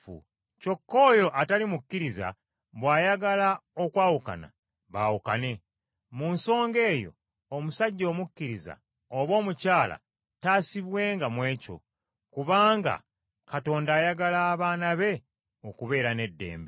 Kyokka oyo atali mukkiriza bw’ayagala okwawukana, baawukane; mu nsonga eyo omusajja omukkiriza oba omukyala taasibwenga mu ekyo, kubanga Katonda ayagala abaana be okubeera n’eddembe.